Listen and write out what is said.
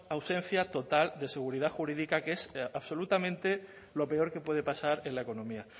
ausencia total de seguridad jurídica que es absolutamente lo peor que puede pasar en la economía